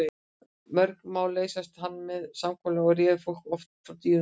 Mörg mál leysti hann með samkomulagi og réð fólki oft frá dýrum málaferlum.